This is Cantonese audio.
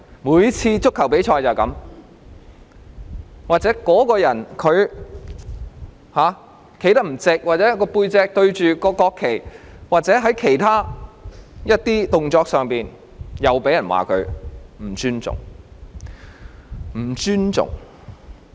每次足球比賽也如是，若某人站得不夠直，或背向國旗或做了其他動作，又被認為不尊重。